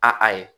A a ye